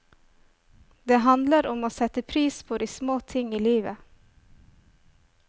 Det handler om å sette pris på de små ting i livet.